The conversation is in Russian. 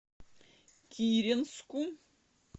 киренску